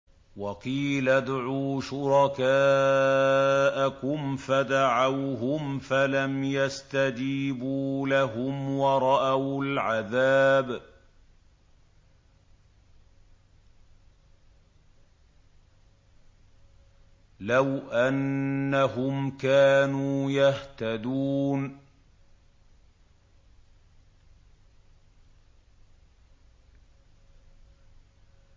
وَقِيلَ ادْعُوا شُرَكَاءَكُمْ فَدَعَوْهُمْ فَلَمْ يَسْتَجِيبُوا لَهُمْ وَرَأَوُا الْعَذَابَ ۚ لَوْ أَنَّهُمْ كَانُوا يَهْتَدُونَ